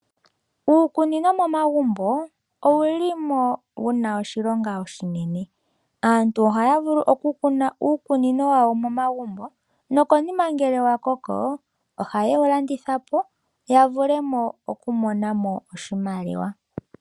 Uukunino momagumbo owuli mo wuna oshilonga oshinene. Aantu ohaya vulu oku kuna uukunino wawo nomagumbo nokonima ngele wa koko oha ye wu landithapo. Yavule oku mona oshimaliwa.